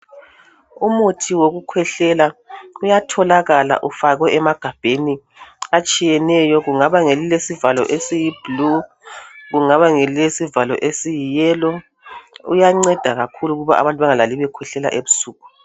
Umuthi wokukhwehlela uyatholakala ufakwe emagabheni atshiyeneyo. Kungaba ngelilesivalo esiyi blue, kungaba ngelilesivalo esiyi yellow uyanceda kakhulu ukuthi abantu bemgalali bekhwehlela ebusuku